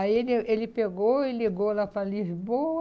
Aí ele ele pegou e ligou lá para Lisboa.